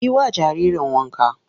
Yi wa jaririn wanka!